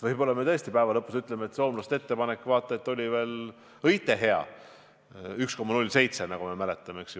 Võib-olla tõesti me päeva lõpus ütleme, et soomlaste ettepanek oli vaata et veel õige hea – 1,07%, nagu me mäletame.